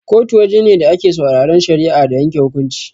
Kotu waje ne da ake sauraran shari'a da yanke hukunci.